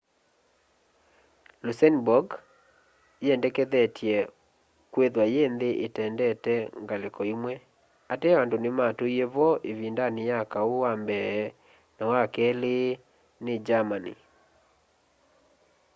luxembourg yiendekethetye kwithwa yi nthi itendete ngaliko imwe ateo andu nimatuie vo ivindani ya kau wa mbee na wa keli ni germany